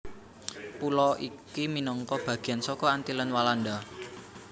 Pulo iki minangka bagean saka Antillen Walanda